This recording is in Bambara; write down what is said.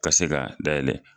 Ka se ka dayɛlɛ.